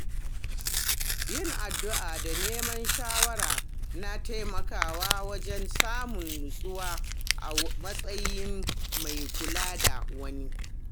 Yin addu’a da neman shawara na taimakawa wajen samun nutsuwa a matsayin mai kula da wani.